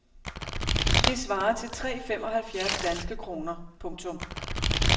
Det svarer til tre femoghalvfjerds danske kroner. punktum